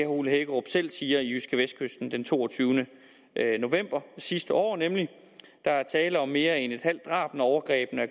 ole hækkerup selv siger i jydskevestkysten den toogtyvende november sidste år nemlig der er tale om mere end et halvt drab når overgrebene er